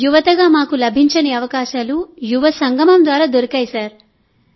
యువతగా మాకు లభించని అవకాశాలు యువ సంగమం ద్వారా దొరికాయి